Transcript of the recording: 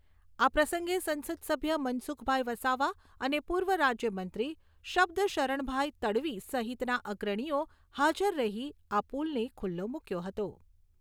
આ પ્રસંગે સંસદ સભ્ય મનસુખભાઈ વસાવા અને પૂર્વ રાજ્ય મંત્રી શબ્દશરણભાઈ તડવી સહિતના અગ્રણીઓ હાજર રહી આ પુલને ખુલ્લો મુક્યો હતો.